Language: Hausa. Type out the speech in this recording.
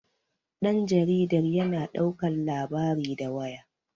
danjaridar yana daukar labari da waya